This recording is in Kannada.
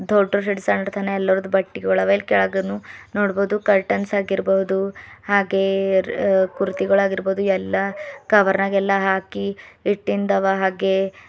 ದೋಡರ್ ಶೀಟ್ಸ್ ಹರಡ್ ತಾನೇ ಎಲ್ಲರ್ದು ಬಟ್ಟೆಗಳಿವ ಇಲ್ಲಿ ಕೆಳಗನು ನೋಡ್ಬೋದು ಕರ್ಟನ್ಸ್ ಆಗಿರ್ಬೋದು ಹಾಗೆ ಕುರ್ತೀ ಗಳು ಆಗಿರ್ಬೋದು ಎಲ್ಲಾ ಕವರ್ ನಗೆಲ್ಲ ಹಾಕಿ ಇಟ್ಟಿನ್ದವ ಹಾಗೆ--